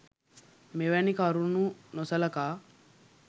මෙවැනි කරුණු නොසලකා